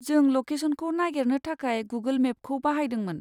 जों लकेसनखौ नागेरनो थाखाय गुगोल मेपखौ बाहायदोंमोन।